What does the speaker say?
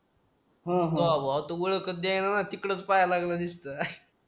ह ह काव भावा तो ओळखच देईना तिकडेच पाहिला लागला नुसतं